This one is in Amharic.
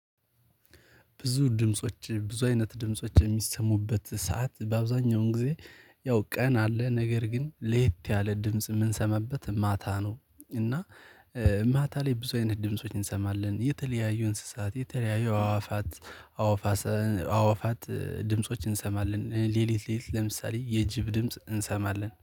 ብዙ ድምጾች ብዙ አይነት ድምጾች የሚሰሙበት ሰዓት በአብዛኛውን ጊዜ ያው ቀን አለ ነገር ግን ለየት ያለ ድምጽ የምንሰማበት ማታ ነው። እና ማታ ላይ ብዙ አይነት ድምጾች እንሰማለን የተለያዩ እንስሳት የተለያዩ አዋፋት። አዋፋት ድምፆችን እንሰማለን ሌሊት ሌሊት ለምሳሌ የጅብ ድምጽ እንሰማለን